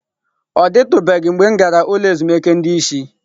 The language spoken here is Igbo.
Ọ dịtụbeghị mgbe m gara ụlọ ezumike ndị isi.